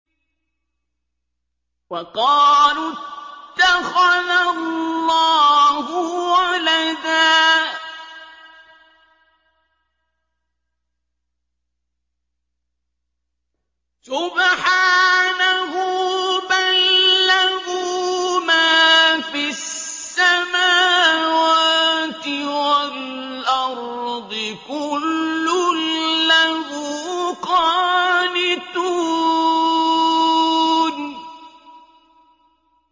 وَقَالُوا اتَّخَذَ اللَّهُ وَلَدًا ۗ سُبْحَانَهُ ۖ بَل لَّهُ مَا فِي السَّمَاوَاتِ وَالْأَرْضِ ۖ كُلٌّ لَّهُ قَانِتُونَ